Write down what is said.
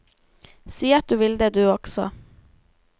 Si at du vil det du også.